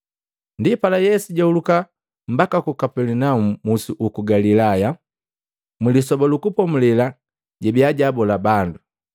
Ndipala Yesu jahuluka mbaka ku Kapelinaumu musi uku Galilaya. Mlisoba lu Kupomulela jabiya jaabola bandu.